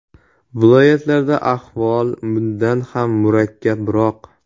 Viloyatlarda ahvol bundan ham murakkabroq.